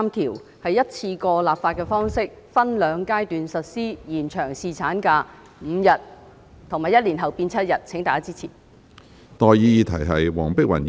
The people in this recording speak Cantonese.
該修正案是以一次性立法的方式，分兩階段實施，把侍產假延長至5天，以及在1年後增加至7天，請大家支持。